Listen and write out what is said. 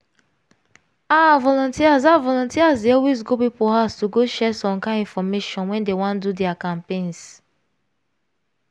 ah! volunteers ah! volunteers dey always go people house to go share some kind infomation when dey wan do their campaigns.